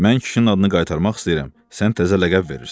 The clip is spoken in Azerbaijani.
Mən kişinin adını qaytarmaq istəyirəm, sən təzə ləqəb verirsən.